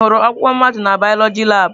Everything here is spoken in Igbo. Ị hụrụ ọkpụkpụ mmadụ na bioloji labụ?